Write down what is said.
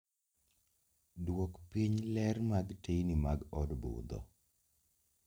Duok piny ler mag teyni mag od budho